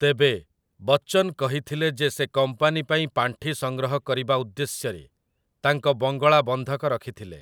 ତେବେ, ବଚ୍ଚନ୍ କହିଥିଲେ ଯେ ସେ କମ୍ପାନୀ ପାଇଁ ପାଣ୍ଠି ସଂଗ୍ରହ କରିବା ଉଦ୍ଦେଶ୍ୟରେ ତାଙ୍କ ବଙ୍ଗଳା ବନ୍ଧକ ରଖିଥିଲେ ।